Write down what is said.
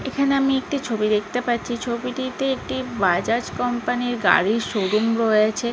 এইখানে আমি একটি ছবি দেখতে পাচ্ছি। ছবিটিতে একটি বাজাজ কোম্পানি -এর গাড়ির শোরুম রয়েছে।